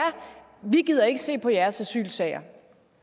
vi gider ikke se på jeres asylsager